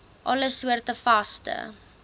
alle soorte vaste